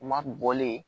U ma bɔlen